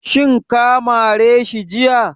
Shin ka mare shi jiya?